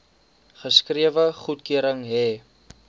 geskrewe goedkeuring hê